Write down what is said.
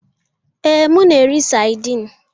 Ee, m na-eri saidin.